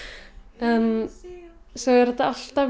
en svo er þetta alltaf